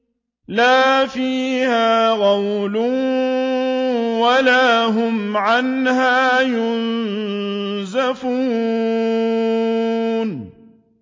لَا فِيهَا غَوْلٌ وَلَا هُمْ عَنْهَا يُنزَفُونَ